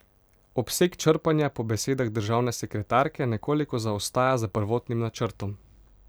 Obseg črpanja po besedah državne sekretarke nekoliko zaostaja za prvotnim načrtom.